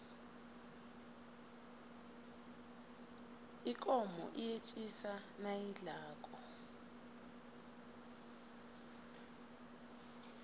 ikomo iyetjisa nayidlako